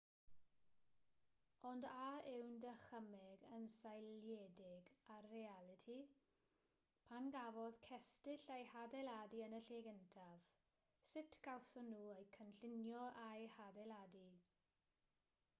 ond a yw'n dychymyg yn seiliedig ar realiti pam gafodd cestyll eu hadeiladu yn y lle cyntaf sut gawson nhw eu cynllunio a'u hadeiladu